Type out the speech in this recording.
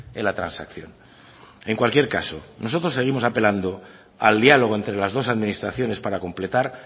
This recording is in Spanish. en la transacción en cualquier caso nosotros seguimos apelando al diálogo entre las dos administraciones para completar